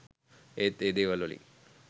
ඒත් ඒ දේවල්වලින්